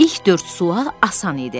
İlk dörd sual asan idi.